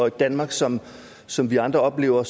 et danmark som som vi andre oplever